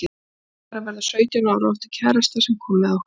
Júlía var að verða sautján ára og átti kærasta sem kom með okkur.